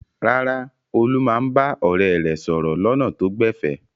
Rárá, Olú máa ń bá ọ̀rẹ́ rẹ̀ sọ̀rọ̀ lọ́nà tó gbẹ̀fẹ̀.